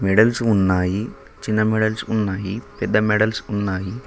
Medals ఉన్నాయి చిన్న medals ఉన్నాయి పెద్ద మెడల్స్ ఉన్నాయి.